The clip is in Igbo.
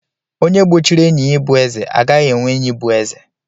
Onye gbochiri enyi ya ịbụ eze, agaghị enwe enyi bụ eze.